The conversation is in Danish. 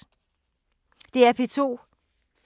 DR P2